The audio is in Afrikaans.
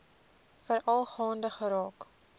veral gaande geraak